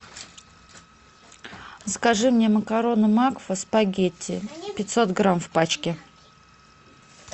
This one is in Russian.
закажи мне макароны макфа спагетти пятьсот грамм в пачке